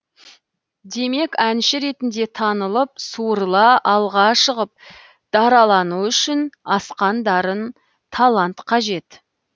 демек әнші ретінде танылып суырыла алға шығып даралану үшін асқан дарын талант қажет